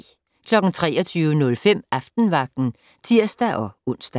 23:05: Aftenvagten (tir-ons)